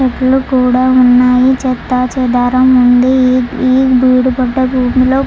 చెట్లు కూడా ఉన్నాయి. చెత్తా చెదారం ఉంది. ఈ లో--